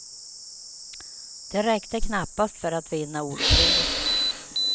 Det räckte knappast för att vinna ordkriget.